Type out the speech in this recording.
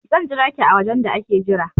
I will wait for you in the waiting area